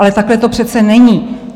Ale takhle to přece není!